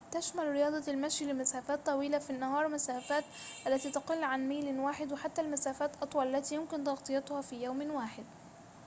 تشمل رياضة المشي لمسافات طويلة في النهار مسافات التي تقل عن ميلٍ واحدٍ وحتى المسافات أطول التي يمكن تغطيتها في يوم واحد